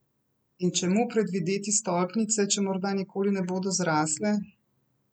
In čemu predvideti stolpnice, če morda nikoli ne bodo zrasle?